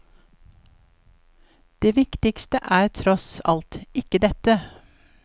Det viktigste er, tross alt ikke dette.